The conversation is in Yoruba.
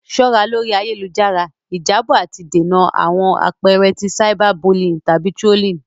Ṣọra lori ayelujara; Ijabọ ati dènà awọn apẹẹrẹ ti cyberbullying tabi trolling.